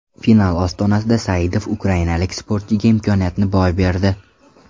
Final ostonasida Saidov ukrainalik sportchiga imkoniyatni boy berdi.